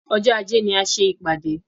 Ọjọ́ ajé ni a ṣé.